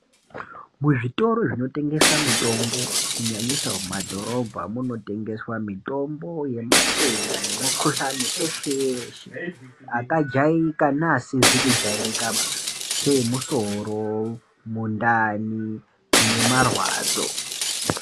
Muzvitoro zvinotengesa mitombo kunyanyisa mumadhorobha munotengeswa mitombo yematenda nemikhuhlane yeshe-yeshe, akajairika neasakajairikaba seemusoro, mundani nemarwadzo.